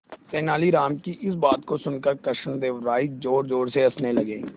तेनालीराम की इस बात को सुनकर कृष्णदेव राय जोरजोर से हंसने लगे